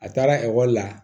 A taara ekɔli la